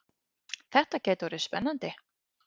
Þetta gæti orðið spennandi!